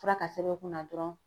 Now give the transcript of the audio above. Fura ka sɛbɛn u kunna dɔrɔn